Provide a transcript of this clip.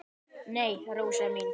"""Nei, Rósa mín."""